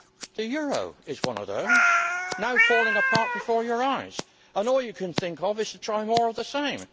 The euro is one of those now falling apart before your eyes, and all you can think of is to try more of the same.